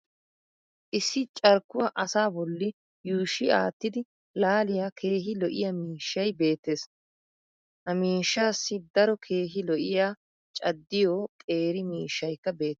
issi carkkuwaa asaa bolli yuushshi aattidi laaliya keehi lo''iya miishshay beetees. ha miishshaassi daro keehi lo''iya caddiyo qeeri miishshaykka beetees.